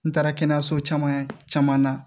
N taara kɛnɛyaso caman na